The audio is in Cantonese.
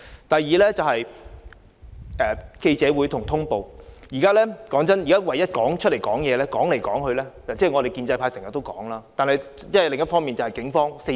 第二，在記者會和通報方面，說真的，現在唯一會走出來發言的，說來說去——我們建制派經常都公開發言——就是警方。